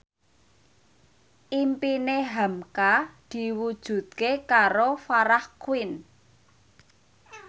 impine hamka diwujudke karo Farah Quinn